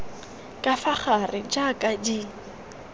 ka fa gare jaaka di